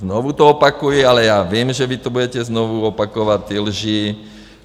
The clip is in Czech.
Znovu to opakuji, ale já vím, že vy to budete znovu opakovat, ty lži.